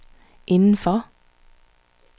indenfor